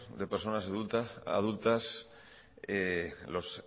de personas adultas los